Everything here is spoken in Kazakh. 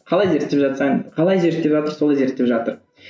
қалай зерттеп жатсаң қалай зерттеп жатыр солай зерттеп жатыр